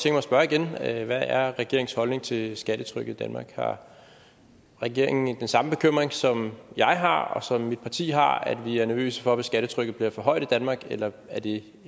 tænke mig at spørge igen hvad er regeringens holdning til skattetrykket i danmark har regeringen ikke den samme bekymring som jeg har og som mit parti har nemlig at vi er nervøse for at skattetrykket bliver for højt i danmark eller er det